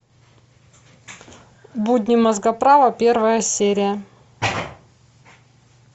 будни мозгоправа первая серия